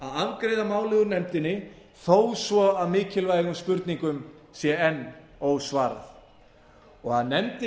afgreiða málið úr nefndinni þó svo að mikilvægum spurningum sé enn ósvarað og að nefndin